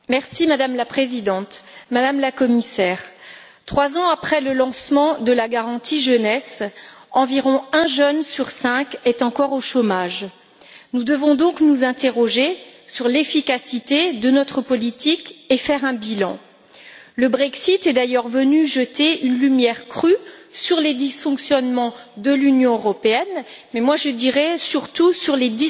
Madame la Présidente, Madame la Commissaire, trois ans après le lancement de la garantie jeunesse, environ un jeune sur cinq est encore au chômage. Nous devons donc nous interroger sur l'efficacité de notre politique et faire un bilan. Le Brexit est d'ailleurs venu jeter une lumière crue sur les dysfonctionnements de l'Union européenne, mais je dirais surtout sur ceux